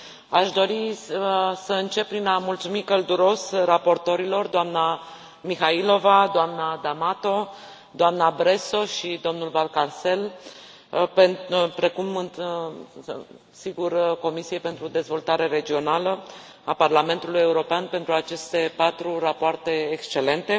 Aș dori să încep prin a mulțumi călduros raportorilor doamna Mihaylova, doamna D'Amato, doamna Bresso și domnul Valcárcel, precum și, desigur, Comisiei pentru Dezvoltare Regională a Parlamentului European pentru aceste patru rapoarte excelente